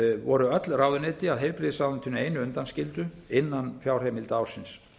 voru öll ráðuneyti að heilbrigðisráðuneytinu einu undanskildu innan fjárheimilda ársins